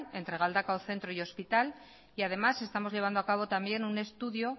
entre galdakao centro y hospital y además estamos llevando a cabo también un estudio